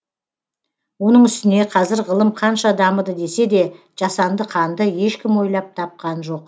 оның үстіне қазір ғылым қанша дамыды десе де жасанды қанды ешкім ойлап тапқан жоқ